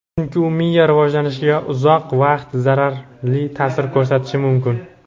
Chunki u miya rivojlanishiga uzoq vaqt zararli ta’sir ko‘rsatishi mumkin.